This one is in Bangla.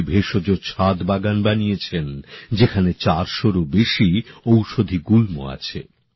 তাঁরা একটি ভেষজ ছাদ বাগান বানিয়েছেন যেখানে চারশোরও বেশি ঔষধি গুল্ম আছে